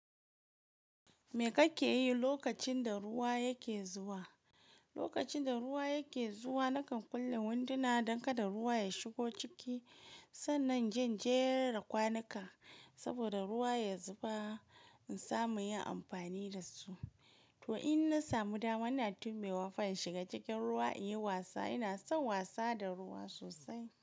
Me kake yi lokacin da ruwa yake zuwa? Lokacin da ruwa yake zuwa, nakan kulle winduna don kada ruwa ya shigo ciki. Sannan inje in jera kwanuka saboda ruwa ya zuba in samu yin amfani da su. To in na samu dama, ina tuɓewa fa in shiga cikin ruwa in yi wasa. Ina son wasa da ruwa sosai.